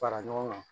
Fara ɲɔgɔn kan